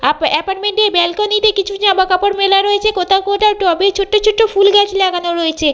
Up এপার্টমেন্ট টির ব্যালকনি তে কিছু জামাকাপড় মেলা রয়েছে কোথাও কোথাও টবে ছোট্ট ছোট্ট ফুলগাছ লাগানো রয়েছে।